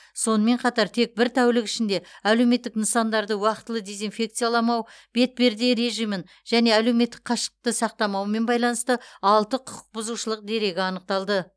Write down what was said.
сонымен қатар тек бір тәулік ішінде әлеуметтік нысандарды уақтылы дезинфекцияламау бетперде режимін және әлеуметтік қашықтықты сақтамаумен байланысты алты құқық бұзушылық дерегі анықталды